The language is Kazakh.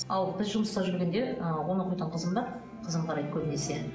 ал біз жұмыста жүргенде ы он оқитын қызым бар қызым қарайды көбінесе